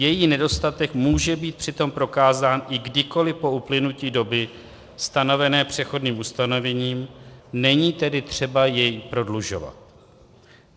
Její nedostatek může být přitom prokázán i kdykoli po uplynutí doby stanovené přechodným ustanovením, není tedy třeba jej prodlužovat.